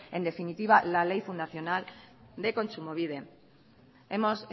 en definitiva la ley fundacional de kontsumobide hemos